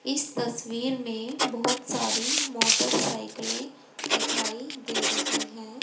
इस तस्वीर में बहोत सारी मोटरसाइकिले दिखाई दे रही है।